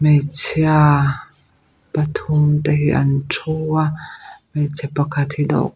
hmeichhia pathum te hi an thu a hmeichhe pakhat hi ta--